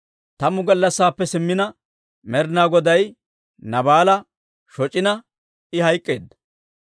Tammu gallassaappe simmina, Med'inaa Goday Naabaala shoc'ina, I hayk'k'eedda.